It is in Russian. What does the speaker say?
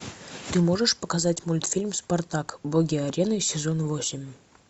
ты можешь показать мультфильм спартак боги арены сезон восемь